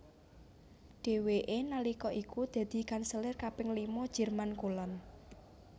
Dhèwèké nalika iku dadi kanselir kaping lima Jerman Kulon